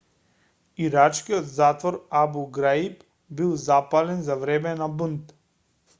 ирачкиот затвор абу граиб бил запален за време на бунт